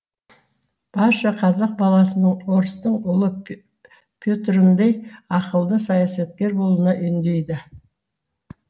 барша қазақ баласының орыстың ұлы петріндей ақылды саясаткер болуына үндейді